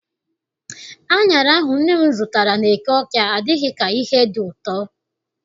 Aṅara ahụ nne m zụtara n'eke Awka adịghị ka ihe dị ụtọ.